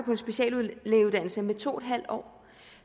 en speciallægeuddannelse med to en halv år